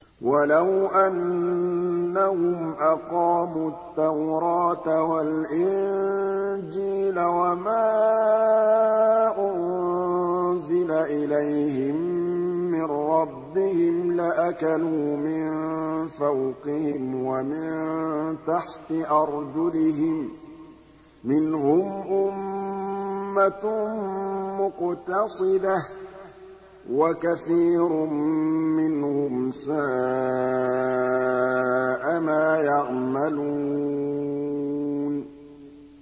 وَلَوْ أَنَّهُمْ أَقَامُوا التَّوْرَاةَ وَالْإِنجِيلَ وَمَا أُنزِلَ إِلَيْهِم مِّن رَّبِّهِمْ لَأَكَلُوا مِن فَوْقِهِمْ وَمِن تَحْتِ أَرْجُلِهِم ۚ مِّنْهُمْ أُمَّةٌ مُّقْتَصِدَةٌ ۖ وَكَثِيرٌ مِّنْهُمْ سَاءَ مَا يَعْمَلُونَ